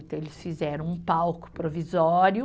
Então, eles fizeram um palco provisório,